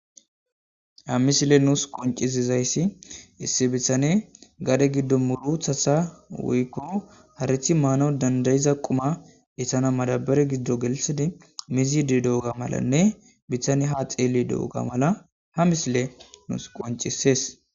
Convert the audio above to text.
ha misile nuus qoncisizayssi issi bitane gade giddo muruthasa woykko harithi maanaw dandayiza quma essana madabare giddo gelisidi mizidi do7oga malanne bitane ha xeeli do7oga mala ha misile nuus qoncisees